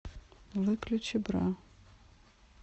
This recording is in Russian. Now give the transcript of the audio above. выключи бра